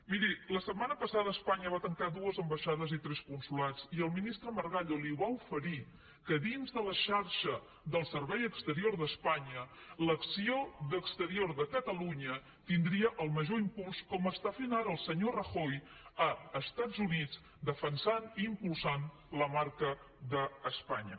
miri la setmana passada espanya va tancar dues ambaixades i tres consolats i el ministre margallo li va oferir que dins de la xarxa del servei exterior d’espanya l’acció d’exterior de catalunya tindria el major impuls com ho està fent ara el senyor rajoy als estats units defensant i impulsant la marca d’espanya